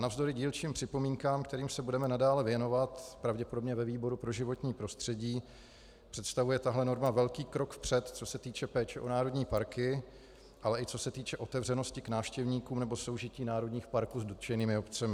Navzdory dílčím připomínkám, kterým se budeme nadále věnovat pravděpodobně ve výboru pro životní prostředí, představuje tahle norma velký krok vpřed, co se týče péče o národní parky, ale i co se týče otevřenosti k návštěvníkům nebo soužití národních parků s dotčenými obcemi.